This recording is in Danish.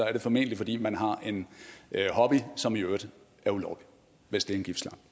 er det formentlig fordi man har en hobby som i øvrigt er ulovlig hvis det